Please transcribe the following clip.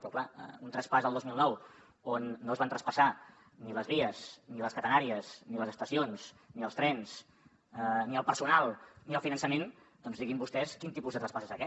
però clar un traspàs el dos mil nou on no es van traspassar ni les vies ni les catenàries ni les estacions ni els trens ni el personal ni el finançament doncs diguin vostès quin tipus de traspàs és aquest